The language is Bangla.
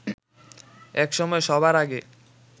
একসময় সবার আগে